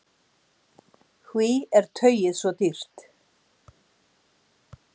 Hví er tauið svo dýrt?